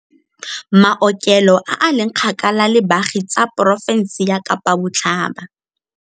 Maokelo a a leng kgakala le baagi tsa porofense ya Kapa Botlhaba.